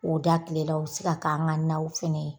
O da tilela u bɛ se k'an ka naw fɛnɛ ye.